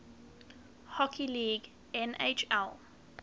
hockey league nhl